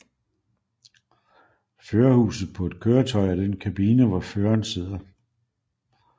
Førerhuset på et køretøj er den kabine hvor føreren sidder